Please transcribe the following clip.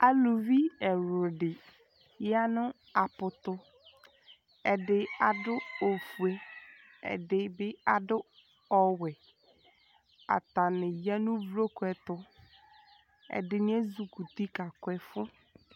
aluvi ɛwludi ya nu apu tu ɛdi adu ofué ɛdi bi du owɛe atani ya nu uvloku ɛtu ɛdini ézukuti ka ku ɛfu